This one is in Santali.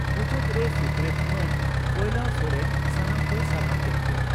ᱢᱩᱪᱟᱹᱫᱽ ᱨᱮ ᱥᱩᱛᱨᱮᱛ ᱢᱟᱱ ᱵᱚᱭᱞᱟ ᱥᱚᱨᱮᱱ ᱥᱟᱱᱟᱢ ᱠᱚᱭ ᱥᱟᱨᱦᱟᱣ ᱠᱮᱫ ᱠᱚᱣᱟ ᱾